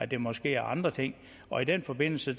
det måske er andre ting og i den forbindelse